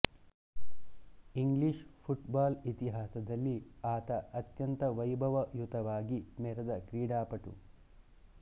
English football ಇತಿಹಾಸದಲ್ಲಿ ಆತ ಅತ್ಯಂತ ವೈಭಯುತವಾಗಿ ಮೆರೆದ ಕ್ರೀಡಾಪಟು